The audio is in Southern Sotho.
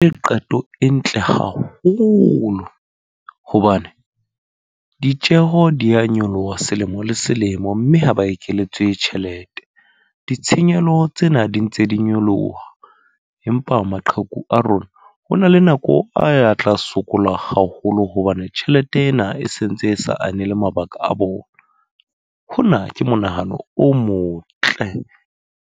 E qeto e ntle haholo. Hobane ditjeho di ya nyoloha selemo le selemo, mme ha ba ekeletswe tjhelete. Ditshenyehelo tsena di ntse di nyoloha. Empa maqheku a rona, ho na le nako a ya tla sokola haholo. Hobane tjhelete ena e sentse e sa anele mabaka a bona. Hona ke monahano o motle.